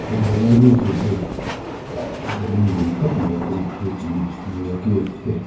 kan hmuh lai mek hi hei in nuam tak mai concrete in a ni a gate te--